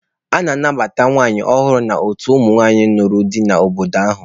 A na-anabata nwanyị a nụrụ ọhụrụ n'otu ụmụnwaanyị nụrụ di n'obodo ahụ.